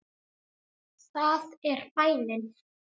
Það er bænin.